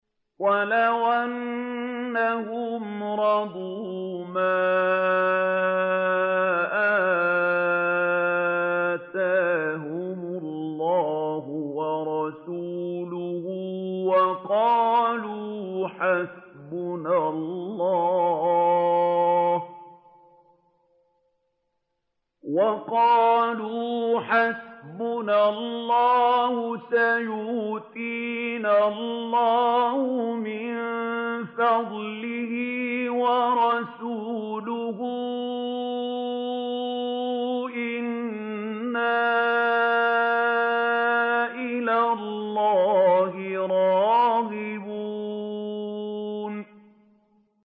وَلَوْ أَنَّهُمْ رَضُوا مَا آتَاهُمُ اللَّهُ وَرَسُولُهُ وَقَالُوا حَسْبُنَا اللَّهُ سَيُؤْتِينَا اللَّهُ مِن فَضْلِهِ وَرَسُولُهُ إِنَّا إِلَى اللَّهِ رَاغِبُونَ